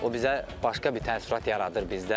O bizə başqa bir təəssürat yaradır bizdə.